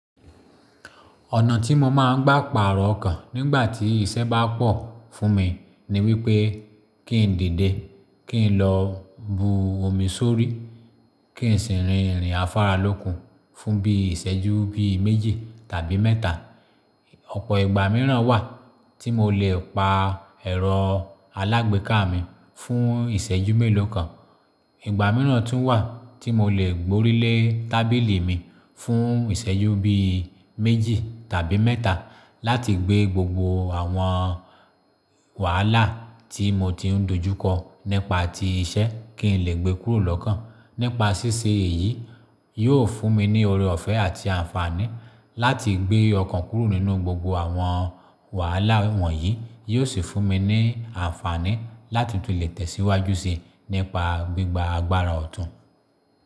Ọ̀nà tí mo máa ń gbá pàrọ̀ ọkàn nígbà tí iṣẹ́ bá pọ̀ fún mi ni wípé kí n dìde, kí n lọ bu omi sórí, kí n sì rin ìrìn afáralókun fún bí i ìṣẹ́jú bí i méjì tàbí mẹ́ta. Ọ̀pọ̀ ìgbà míràn wà tí mo lè pa ẹ̀rọ alágbèéká mi fún ìṣẹ́jú mélòó kan. Ìgbà míràn tún wà tí mo lè gborílé tábìlì mi fún ìṣẹ́jú bí i méjì tàbí mẹ́ta láti gbé gbogbo àwọn wàhálà tí mo ti ń dojú kọ nípá ti iṣẹ́ kí n lè gbé kúrò lọ́kàn. Nípa ṣíṣe èyí, yóò fún mi ní oreọ̀fẹ́ àti àǹfààní láti gbé ọkàn kúrò nínú gbogbo àwọn wàhálà wọ̀nyí. Yóò sì fún mi ní àǹfààní láti tún lè tẹ̀síwájú síi nípa gbígba agbára ọ̀tún.